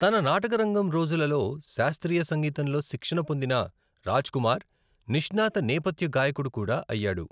తన నాటకరంగం రోజులలో శాస్త్రీయ సంగీతంలో శిక్షణ పొందిన రాజ్కుమార్ నిష్ణాత నేపథ్య గాయకుడు కూడా అయ్యాడు.